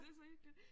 Det så hyggeligt